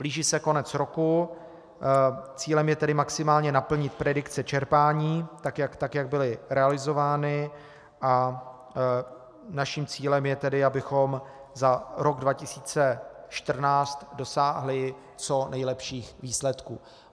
Blíží se konec roku, cílem je tedy maximálně naplnit predikce čerpání tak, jak byly realizovány, a naším cílem je tedy, abychom za rok 2014 dosáhli co nejlepších výsledků.